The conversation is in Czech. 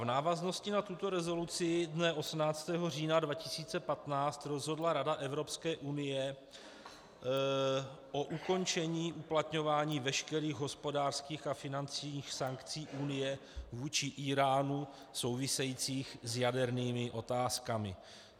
V návaznosti na tuto rezoluci dne 18. října 2015 rozhodla rada Evropské unie o ukončení uplatňování veškerých hospodářských a finančních sankcí Unie vůči Íránu souvisejících s jadernými otázkami.